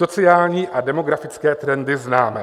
Sociální a demografické trendy známe.